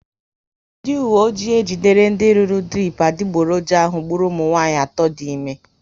Ndị uwe ọjị ejidere ndị rụrụ dirip adiboroja ahụ gburu ụmụnwanyị atọ dị ime